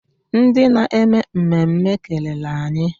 Ndị na-eme mmemme kelere anyị.